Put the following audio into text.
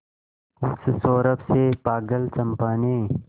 उस सौरभ से पागल चंपा ने